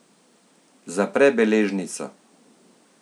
Zapre beležnico.